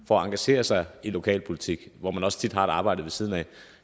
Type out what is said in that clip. for at engagere sig i lokalpolitik hvor man også tit har et arbejde ved siden af